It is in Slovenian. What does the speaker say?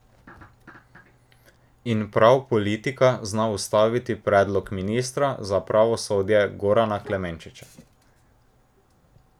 In prav politika zna ustaviti predlog ministra za pravosodje Gorana Klemenčiča.